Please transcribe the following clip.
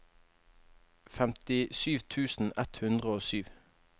femtisju tusen ett hundre og sju